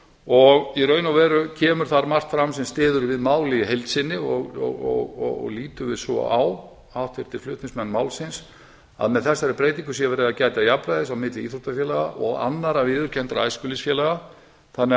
og í raun og veru kemur þar margt fram sem styður við málið í heild sinni og litum við svo á háttvirta flutningsmenn málsins að með þessari breytingu sé verið að gæta jafnræðis milli íþróttafélaga og annarra viðurkenndra æskulýðsfélaga þannig að